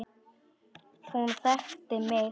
Hún þekkti mig.